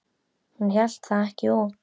Hún hélt það ekki út!